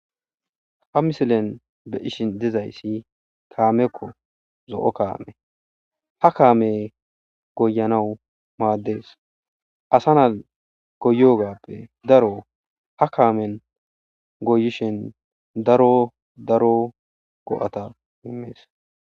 Ha misilen be ishi dizayssi kaamekko zo'o kaame ha kaame goyanawu maaddees asa naa goyogappe daro ha kaamen goyishin daro daro go'ata himees.